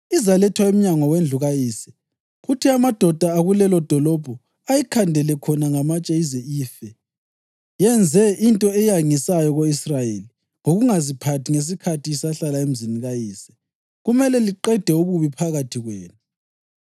izalethwa emnyango wendlu kayise kuthi amadoda akulelodolobho ayikhandele khona ngamatshe ize ife. Yenze into eyangisayo ko-Israyeli ngokungaziphathi ngesikhathi isahlala emzini kayise. Kumele liqede ububi phakathi kwenu.